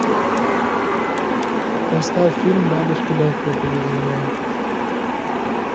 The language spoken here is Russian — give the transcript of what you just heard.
поставь фильм бабочки легкого поведения